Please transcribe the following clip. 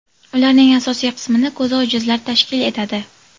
Ularning asosiy qismini ko‘zi ojizlar tashkil etadi.